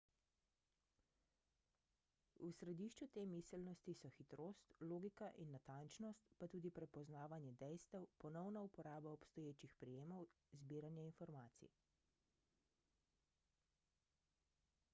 v središču te miselnosti so hitrost logika in natančnost pa tudi prepoznavanje dejstev ponovna uporaba obstoječih prijemov zbiranje informacij